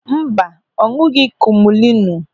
Mba, ọ ñụ̀ghị̀ kumulinu een.